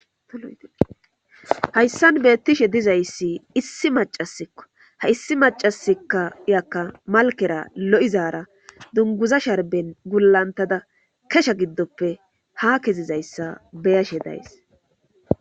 Bollan haysan beettishe dizayssi issi macasikka ha issi macasikka iyakka malkera lo7izaara dunguza sharben gullantada kesha giddoppe ha kezizayssa beyashe days